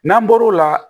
N'an bɔr'o la